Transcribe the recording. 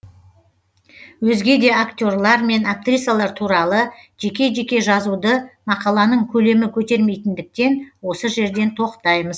өзге де актерлар мен актрисалар туралы жеке жеке жазуды мақаланың көлемі көтермейтіндіктен осы жерден тоқтаймыз